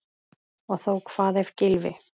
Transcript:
Og þó Hvað ef Gylfi.